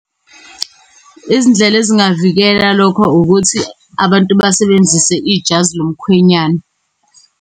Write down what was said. Izindlela ezingavikela lokho ukuthi abantu basebenzise ijazi lomkhwenyana.